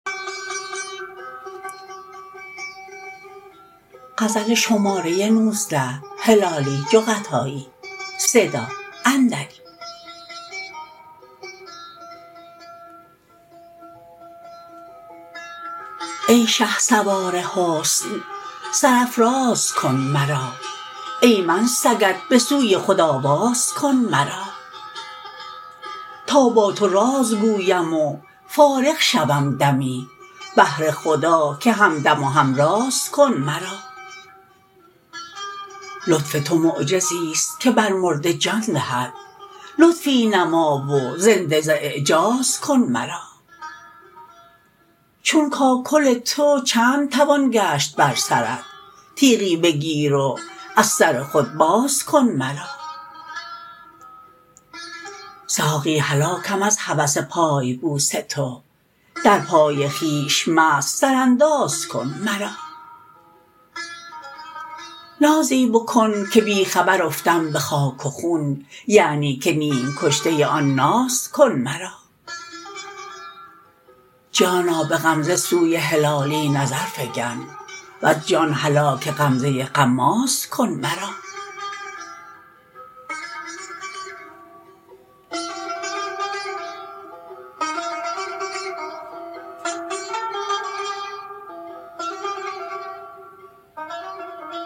ای شهسوار حسن سر افراز کن مرا ای من سگت بسوی خود آواز کن مرا تا با تو راز گویم و فارغ شوم دمی بهر خدا که همدم و همراز کن مرا لطف تو معجزیست که بر مرده جان دهد لطفی نما و زنده ز اعجاز کن مرا چون کاکل تو چند توان گشت بر سرت تیغی بگیر و از سر خود باز کن مرا ساقی هلاکم از هوس پای بوس تو در پای خویش مست سرانداز کن مرا نازی بکن که بی خبر افتم بخاک و خون یعنی که نیم کشته آن ناز کن مرا جانا بغمزه سوی هلالی نظر فگن وز جان هلاک غمزه غماز کن مرا